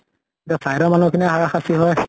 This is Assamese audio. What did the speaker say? এতিয়া side মানুহ খিনিৰ হাৰা সাস্তি হয়